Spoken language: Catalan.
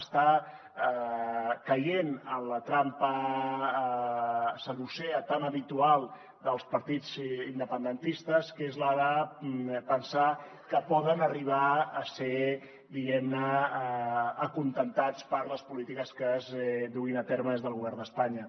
està caient en la trampa saducea tan habitual dels partits independentistes que és la de pensar que poden arribar a ser diguem ne acontentats per les polítiques que es duguin a terme des del govern d’espanya